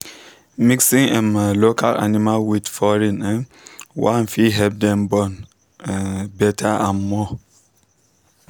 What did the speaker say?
mixing um local animal with with foreign um one fit help them born um better and more.